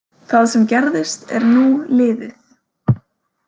Það sem gerðist er nú liðið.